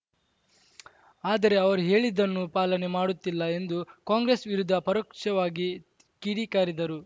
ಆದರೆ ಅವರು ಹೇಳಿದ್ದನ್ನು ಪಾಲನೆ ಮಾಡುತ್ತಿಲ್ಲ ಎಂದು ಕಾಂಗ್ರೆಸ್‌ ವಿರುದ್ಧ ಪರೋಕ್ಷವಾಗಿ ಕಿಡಿಕಾರಿದರು